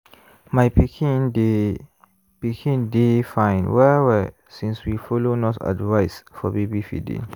my pikin dey pikin dey fine well-well since we follow nurse advice for baby feeding